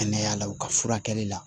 Kɛnɛya la u ka furakɛli la